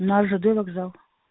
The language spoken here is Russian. на жд вокзал